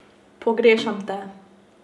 Pogrešam Te.